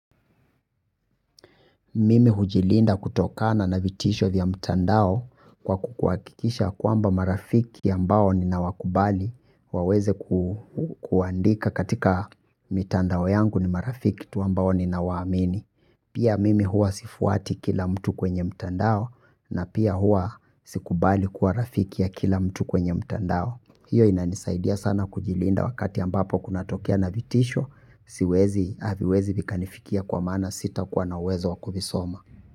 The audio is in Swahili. Mm hujilinda kutokana na vitisho vya mtandao kwa kuakikikisha ya kwamba marafiki ambao ninawakubali waweze kuandika katika mitandao yangu ni marafiki ambao nawaamini pia mimi huwa sifuati kila mtu kwenye mtandao na pia huwa sikubali kuwa rafiki ya kila mtu kwenye mtandao. Hiyo inanisaidia sana kujilinda wakati ambapo kunatokea na vitisho siwezi aviwezi vikanifikia kwa maana sitakuwa na uwezo wakuvisoma.